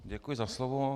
Děkuji za slovo.